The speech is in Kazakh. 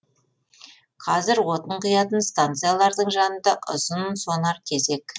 қазір отын құятын станциялардың жанында ұзынсонар кезек